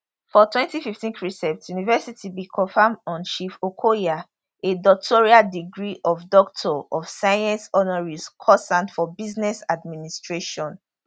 for 2015 cresent university bin confer on chief okoya a doctoral degree of doctor of science honoris causa for business administration